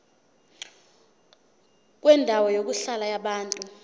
kwendawo yokuhlala yabantu